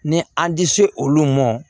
Ni an tɛ se olu ma